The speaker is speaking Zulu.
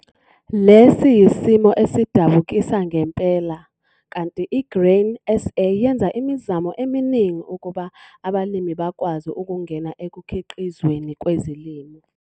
Lesi yisimo esidabukisa ngempela kanti i-Grain SA yenza imizamo eminingi ukuba abalimi bakwazi ukungena ekukhiqizweni kwezilimo.